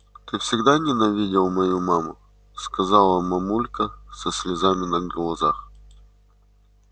ты всегда ненавидел мою маму сказала мамулька со слезами на глазах